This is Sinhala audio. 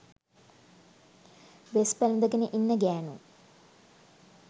වෙස් පැළඳගෙන ඉන්න ගැනු